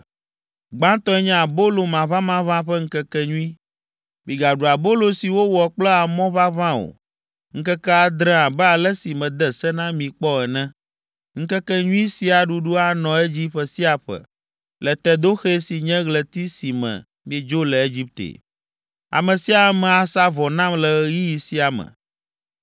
“Gbãtɔe nye Abolo Maʋamaʋã ƒe Ŋkekenyui. Migaɖu abolo si wowɔ kple amɔ ʋaʋã o ŋkeke adre abe ale si mede se na mi kpɔ ene. Ŋkekenyui sia ɖuɖu anɔ edzi ƒe sia ƒe le Tedoxe si nye ɣleti si me miedzo le Egipte. “Ame sia ame asa vɔ nam le ɣeyiɣi sia me.